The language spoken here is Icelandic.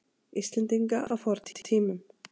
Íslendinga á fornum tímum.